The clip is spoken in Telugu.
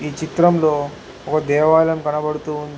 ఈ చిత్రంలో ఒక దేవాలయం కనబడుతూ ఉంది.